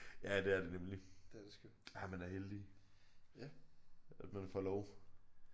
Ja det er det nemlig. Ja man er heldig at man får lov